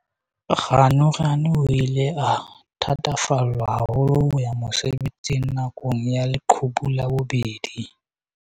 Ganuganu o ile a thatafallwa haholo ho ya mosebetsing na kong ya leqhubu la bobedi.